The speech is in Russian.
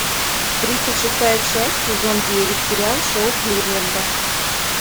тридцать шестая часть сезон девять сериал шоу кливленда